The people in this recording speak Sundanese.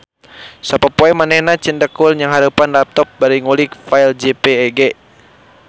Sapopoe manehna cindekul nnyangharepan laptop bari ngulik file jpeg